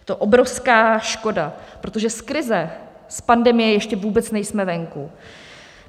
Je to obrovská škoda, protože z krize, z pandemie ještě vůbec nejsme venku.